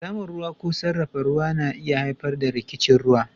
Samun ruwa ko sarrafa ruwa na iya haifar da rikicin ruwa